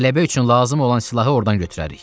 Qələbə üçün lazım olan silahı ordan götürərik.